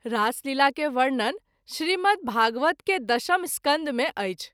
रासलीला के वर्णन श्री मद्भागवत के दशम स्कन्ध मे अछि।